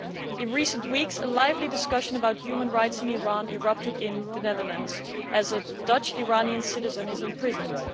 In recent weeks, a lively discussion about human rights in Iran erupted in the Netherlands when a Dutch Iranian citizen was imprisoned.